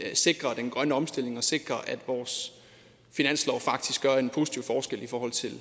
sikrer den grønne omstilling og sikrer at vores finanslov faktisk gør en positiv forskel i forhold til